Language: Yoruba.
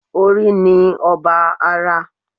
Orí ni ọba ara